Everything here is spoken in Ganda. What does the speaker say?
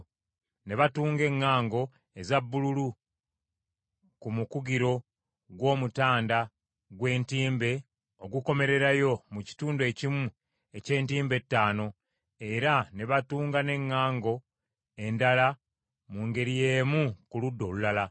Ne batunga eŋŋango eza bbululu ku mukugiro gw’omutanda gw’entimbe ogukomererayo mu kitundu ekimu eky’entimbe etaano, era ne batunga n’eŋŋango endala mu ngeri y’emu ku ludda olulala.